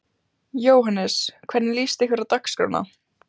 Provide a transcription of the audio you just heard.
Jóhannes: Hvernig líst ykkur á dagskrána?